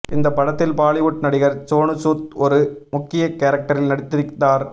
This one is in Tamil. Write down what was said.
இந்த படத்தில் பாலிவுட் நடிகர் சோனுசூத் ஒரு முக்கிய கேரக்டரில் நடித்திருந்தார்